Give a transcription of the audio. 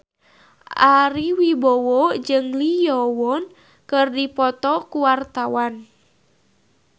Ari Wibowo jeung Lee Yo Won keur dipoto ku wartawan